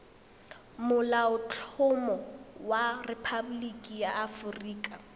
molaotlhomo wa rephaboliki ya aforika